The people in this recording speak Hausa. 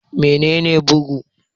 Mene ne bugu?